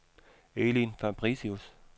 Elin Fabricius